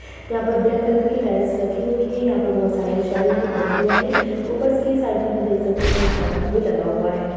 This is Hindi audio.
यहाँ पर ब्लैक कलर की टाइल्स लगी हुई हैं यहाँ पर बहोत सारे शेल्फ भी बने हुए हैं ऊपरस की साइड में हम देख सकते हैं एक पंखा भी लगा हुआ है।